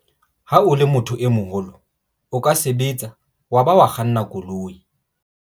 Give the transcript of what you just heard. Ha o le motho e moholo o ka sebetsa wa ba wa kganna koloi.